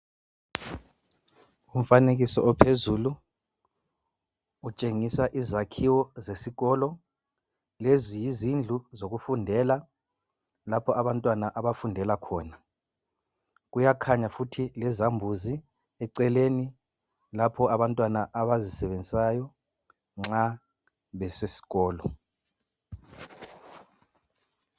Umfanekiso ophezulu, utshengisa izakhiwo zesikolo. Lezi yizindlu zokufundela lapho abantwana abafundela khona. Kuyakhanya futhi lezambuzi eceleni lapho abantwana abazisebenzisayo nxa besesikolo